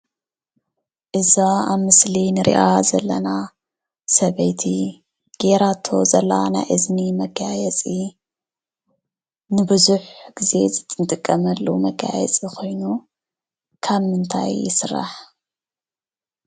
እዛ ኣብ ምስሊ እንርእያ ዘለና ሰበይቲ ገይራቶ ዘላ ናይ እዝኒ መጋየፂ ንቡዙሕ ግዜ እንጥቀመሉ መጋየፂ ኮይኑ ካብ ምንታይ ይስራሕ?